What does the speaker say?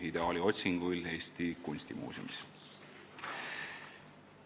Ideaali otsinguil" Eesti Kunstimuuseumis.